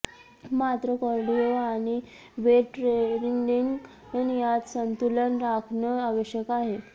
मात्र कार्डिओ आणि weight training यात संतुलन राखणं आवश्यक आहे